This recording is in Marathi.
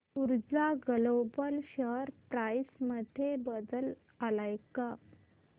ऊर्जा ग्लोबल शेअर प्राइस मध्ये बदल आलाय का